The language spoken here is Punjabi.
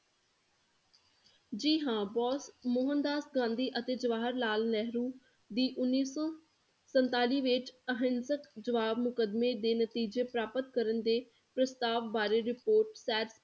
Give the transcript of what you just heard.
ਜੀ ਹਾਂ, ਬੋਸ, ਮੋਹਨਦਾਸ ਗਾਂਧੀ ਅਤੇ ਜਵਾਹਰ ਲਾਲ ਨੇਹਰੂ ਦੀ ਉੱਨੀ ਸੋ ਸੰਤਾਲੀ ਵਿੱਚ ਅਹਿੰਸਕ ਜਵਾਬ ਮੁਕਦਮੇ ਦੇ ਨਤੀਜੇ ਪ੍ਰਾਪਤ ਕਰਨ ਦੇ ਪ੍ਰਸਤਾਵ ਬਾਰੇ report ਸ਼ੈਰ